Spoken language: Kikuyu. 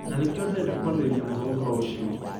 Na nĩkĩo ndirenda kwarĩria mũno ũhoro ũcio.